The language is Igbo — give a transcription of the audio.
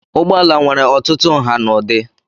Ụgbọala nwere ọtụtụ nha na ụdị.